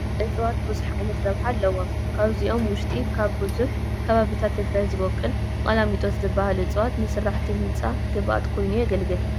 እፅዋት ብዙሕ ዓይነት ረብሓ ኣለዎም፡፡ ካብዚኦም ውሽጢ ኣብ ብዙሕ ከባብታት ትግራይ ዝበቁል ቀላሚጦስ ዝበሃል እፅዋን ንስራሕቲ ህንፃ ግብኣት ኮይኑ የግልግል፡፡